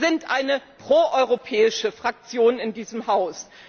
Wir sind eine proeuropäische Fraktion in diesem Haus.